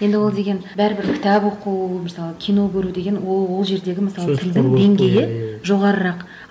енді ол деген бәрібір кітап оқу мысалы кино көру деген ол ол жердегі мысалы деңгейі жоғарырақ